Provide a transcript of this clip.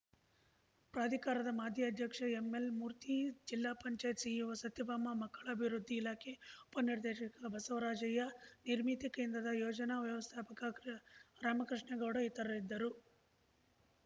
ಪ್ರಾಧಿಕಾರದ ಮಾಜಿ ಅಧ್ಯಕ್ಷ ಎಂಎಲ್‌ಮೂರ್ತಿ ಜಿಲ್ಲಾ ಪಂಚಾಯ್ತ್ ಸಿಇಒ ಸತ್ಯಭಾಮ ಮಕ್ಕಳ ಅಭಿವೃದ್ಧಿ ಇಲಾಖೆ ಉಪ ನಿರ್ದೇಶಕ ಬಸವರಾಜಯ್ಯ ನಿರ್ಮಿತಿ ಕೇಂದ್ರದ ಯೋಜನಾ ವ್ಯವಸ್ಥಾಪಕ ಕೃ ರಾಮಕೃಷ್ಣೇಗೌಡ ಇತರು ಇದ್ದರು